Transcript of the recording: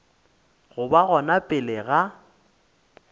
go ba gona pele ga